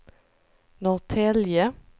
Norrtälje